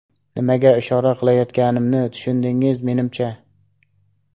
Nimaga ishora qilayotganimni tushundingiz, menimcha?